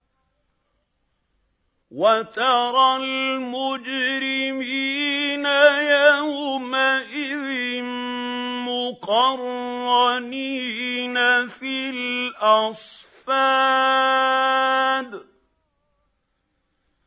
وَتَرَى الْمُجْرِمِينَ يَوْمَئِذٍ مُّقَرَّنِينَ فِي الْأَصْفَادِ